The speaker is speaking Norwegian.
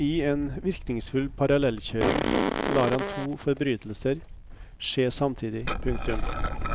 I en virkningsfull parallellkjøring lar han to forbrytelser skje samtidig. punktum